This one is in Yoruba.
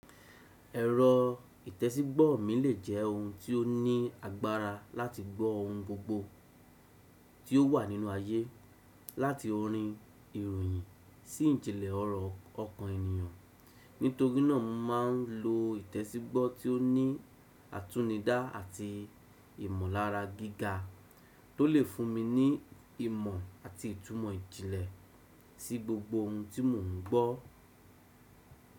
Ẹ̀rọ ìtẹsígbọ́ mi lè jẹ́ ohun tí ó ní agbára láti gbọ́ ohun gbogbo tí ó wà nínú ayé, láti orin ìròyìn sí ìjìnlẹ̀ ọ̀rọ̀ ọkàn ènìyàn. Nítorí náà mo máa ń lo ìtẹsígbọ́ tí ó ní àtúnidá àti ìmọ̀lára gíga tó lè fún mi ní ìmọ̀ àti ìtumọ̀ ìjìnlẹ̀ sí gbogbo ohun tí mò ń gbọ́.